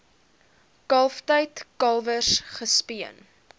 kalftyd kalwers gespeen